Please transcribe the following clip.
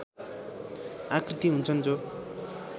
आकृति हुन्छन् जो